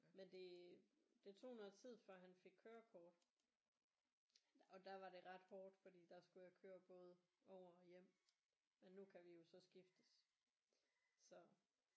Men det det tog noget tid før han fik kørekort og der var det ret hårdt fordi der skulle jeg køre både over og hjem men nu kan vi jo så skiftes så